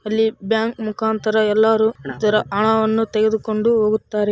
ಅಲ್ಲಿ ಬ್ಯಾಂಕ್‌ ಮುಖಾಂತರ ಎಲ್ಲರೂ ಈ ತರ ಹಣವನ್ನು ತೆಗೆದುಕೊಂಡು ಹೋಗುತ್ತಾರೆ.